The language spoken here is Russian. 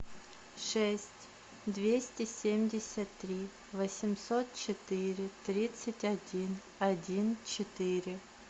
шесть двести семьдесят три восемьсот четыре тридцать один один четыре